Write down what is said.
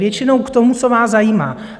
Většinou k tomu, co vás zajímá.